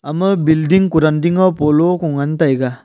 ama building kuran ding e polo ko ngan taiga.